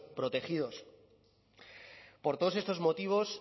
protegidos por todos estos motivos